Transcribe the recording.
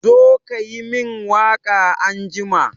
Ka zo ka yi min waka anjima!